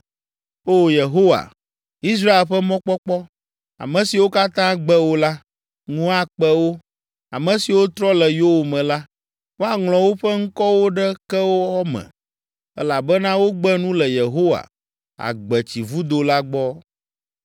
O Yehowa, Israel ƒe mɔkpɔkpɔ, ame siwo katã gbe wò la, ŋu akpe wo. Ame siwo trɔ le yowòme la, woaŋlɔ woƒe ŋkɔwo ɖe kewɔ me elabena wogbe nu le Yehowa, agbetsivudo la gbɔ.